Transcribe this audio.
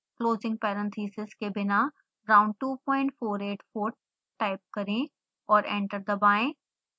closing parenthesis के बिना round 2484 type करें और एंटर दबाएं